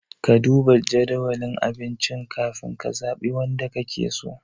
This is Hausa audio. Ka duba jadawalin abincin ka fin ka zaɓi wanda ka ke so?